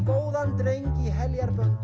góðan dreng í